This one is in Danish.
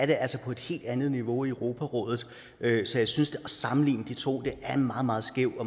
det altså på en helt andet niveau i europarådet så jeg synes at at sammenligne de to er en meget meget skæv